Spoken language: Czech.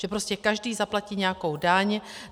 Že prostě každý zaplatí nějakou daň.